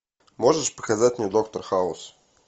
можешь показать мне доктор хаус